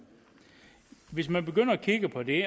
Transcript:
hvis man begynder at kigge på det